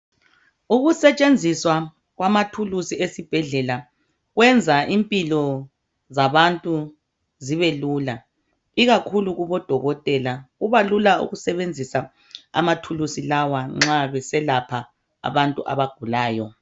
Ukusetshenziswa kwama tools esibhedlela kwenza impilo zabantu zibelula ikakhulu kubodokotela kubalula ukusebenzisa ama tools lawa nxa besalapha abantu abagulayo.